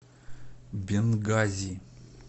бенгази